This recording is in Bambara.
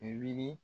Wuli